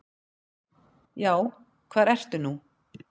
Já, hvar ertu nú?